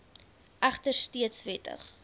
egter steeds wettig